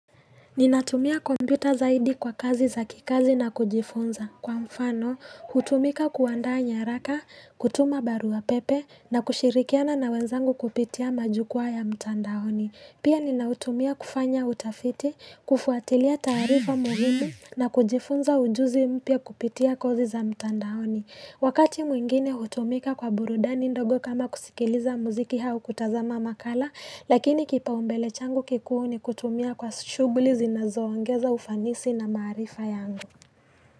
Ninatumia kompyuta zaidi kwa kazi za kikazi na kujifunza. Kwa mfano, hutumika kuandaa nyaraka, kutuma barua pepe, na kushirikiana na wenzangu kupitia majukwaa ya mtandaoni. Pia ninautumia kufanya utafiti, kufuatilia taarifa muhimu, na kujifunza ujuzi mpya kupitia kozi za mtandaoni. Wakati mwingine hutumika kwa burudani ndogo kama kusikiliza muziki au kutazama makala, lakini kipaumbele changu kikuu ni kutumia kwa shughuli zinazoongeza ufanisi na maarifa yangu.